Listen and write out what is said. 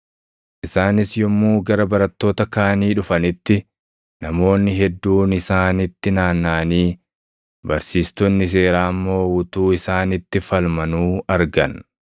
Isaanis yommuu gara barattoota kaanii dhufanitti, namoonni hedduun isaanitti naannaʼanii, barsiistonni seeraa immoo utuu isaanitti falmanuu argan.